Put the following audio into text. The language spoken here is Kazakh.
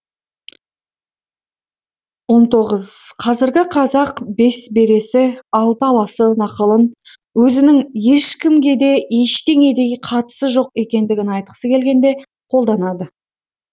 он тоғыз қазіргі қазақ бес бересі алты аласы нақылын өзінің ешкімге де ештеңеге де қатысы жоқ екендігін айтқысы келгенде қолданады